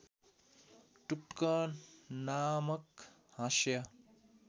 टुक्क नामक हाँस्य